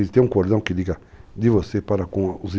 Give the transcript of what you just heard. Eles têm um cordão que liga de você para com os interesses,